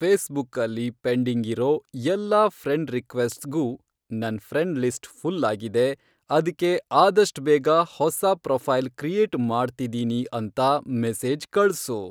ಫೇಸ್ಬುಕಲ್ಲಿ pending ಇರೋ ಎಲ್ಲಾ friend ರಿಕ್ವೆಸ್ಟ್ಸ್ಗೂ ನನ್ ಫ್ರೆಂಡ್ ಲಿಸ್ಟ್ ಫುಲ್ ಆಗಿದೆ, ಅದ್ಕೆ ಆದಷ್ಟ್ ಬೇಗ ಹೊಸಾ ಪ್ರೊಫೈಲ್ ಕ್ರಿಯೇಟ್ ಮಾಡ್ತಿದೀನಿ ಅಂತ ಮೆಸೇಜ್ ಕಳ್ಸು